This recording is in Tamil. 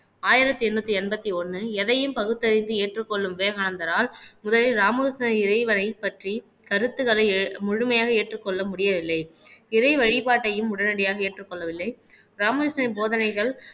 ஆயிரத்தி எண்ணூத்தி எண்பத்தி ஒண்ணு எதையும் பகுத்தறிந்து ஏற்றுக்கொள்ளும் விவேகானந்தரால் முதலில் ராமகிருஷ்ண இறைவனை பற்றி கருத்துக்களை ஏ முழுமையாக ஏற்றுக்கொள்ள முடியவில்லை இறை வழிபாட்டையும் உடனடியாக ஏற்றுக்கொள்ளவில்லை ராமகிருஷ்ண போதனைகள்